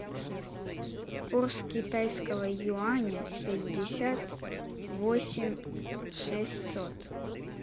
курс китайского юаня пятьдесят восемь шестьсот